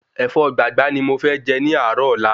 Ẹ̀fọ́ gbàgbá ni mo fẹ jẹ ní àárò ọ́la